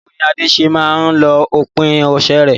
Báwo ni Ade ṣe máa ń lo òpin ọ̀sẹ̀ rẹ̀?